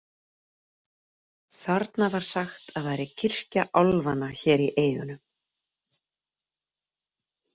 Þarna var sagt að væri kirkja álfanna hér í eyjunum.